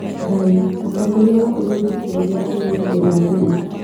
Ndaĩ:Mũtongoria was ũrũthi Njoroge arĩrirĩ mbere ya andũ rĩ?